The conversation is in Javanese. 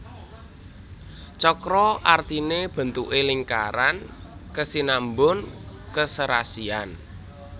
Cakra artine bentuke lingkaran kesinambun keserasian